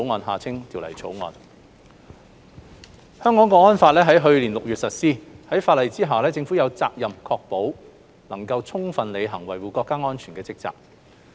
《香港國安法》於去年6月實施，法例下政府有責任確保能夠充分履行維護國家安全的職責。